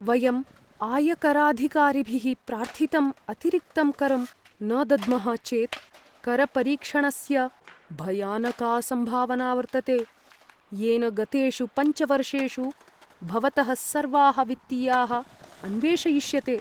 वयम् आयकराधिकारिभिः प्रार्थितम् अतिरिक्तं करं न दद्मः चेत् करपरीक्षणस्य भयानका सम्भावना वर्तते, येन गतेषु पञ्च वर्षेषु भवतः सर्वाः वित्तीयाः अन्वेषयिष्यते।